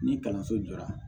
Ni kalanso jɔra